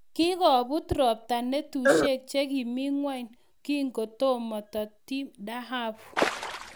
kingobut robta natusiek che kimi ng'ony kitokomitoti dhahabu ,"